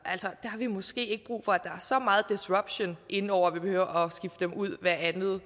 har vi måske ikke brug for at der er så meget disruption inde over at vi behøver at skifte dem ud hvert andet